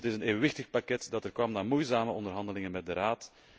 Het is een evenwichtig pakket dat er kwam na moeizame onderhandelingen met de Raad.